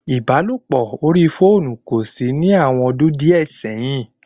Ìbálòpọ̀ orí fóònù kòsí ní àwọn ọdún díẹ̀ sẹ́yìn